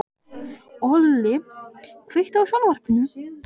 Olli, kveiktu á sjónvarpinu.